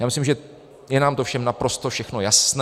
Já myslím, že je nám to všem naprosto všechno jasné.